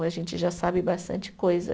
A gente já sabe bastante coisa.